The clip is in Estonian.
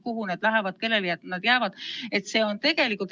Kuhu need lähevad, kellele need jäävad?